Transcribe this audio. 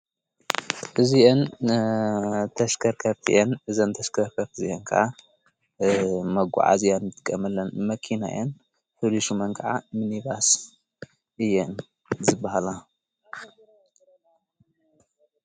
እዚእን ተሽከርከርቲየን ዘንተሽከሕፈፍ እዚየን ከዓ መጕዓእዝያን ምትቀምለን መኪናየን ኅሊሹ መንቀዓ ምኒባስ እየን ዝበሃላ።